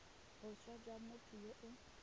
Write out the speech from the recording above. boswa jwa motho yo o